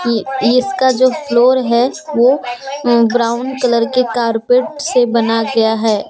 ए इसका जो फ्लोर है वो अह ब्राउन कलर के कारपेट से बना गया है।